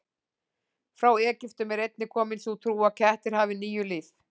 Frá Egyptum er einnig komin sú trú að kettir hafi níu líf.